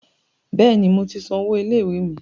Bẹ́ẹ̀ni, mo ti san owó ilé ìwé mi.